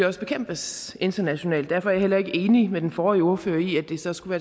også bekæmpes internationalt derfor er jeg heller ikke enig med den forrige ordfører i at det så skulle